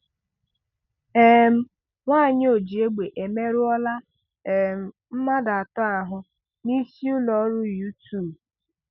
um Nwanyị ojiegbe emerụọla um mmadụ ato ahụ n'isiụlọọrụ YouTube